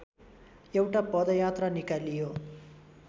एउटा पदयात्रा निकालियो